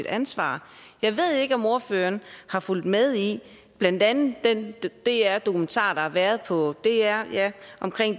ansvar jeg ved ikke om ordføreren har fulgt med i blandt andet den dr dokumentar der har været på dr om